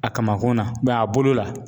A kamankun na a bolo la